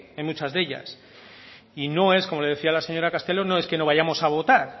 en muchas de ellas y no es como le decía a la señora castelo no es que no vayamos a votar